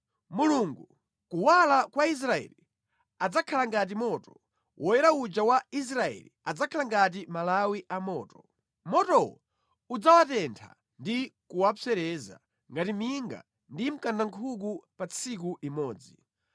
Mulungu, Kuwala kwa Israeli, adzakhala ngati moto, Woyera uja wa Israeli adzakhala ngati malawi a moto. Motowo udzawatentha ndi kuwapsereza ngati minga ndi mkandankhuku pa tsiku limodzi.